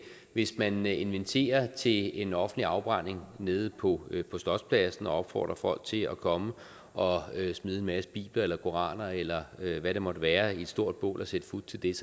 hvis man inviterer til en offentlig afbrænding nede på slotspladsen og opfordrer folk til at komme og smide en masse bibler eller koraner eller hvad det måtte være i et stort bål og sætte fut til det